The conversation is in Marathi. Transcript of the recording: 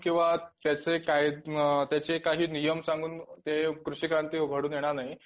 किंवा त्याचे काही नियम सांगून कृषिक्रांती घडून येणार नाही